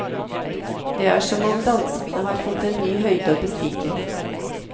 Det er som om danskene har fått en ny høyde å bestige.